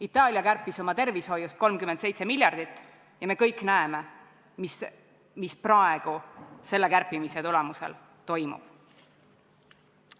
Itaalia kärpis oma tervishoiust 37 miljardit ja me kõik näeme, mis praegu selle kärpimise tagajärjel toimub.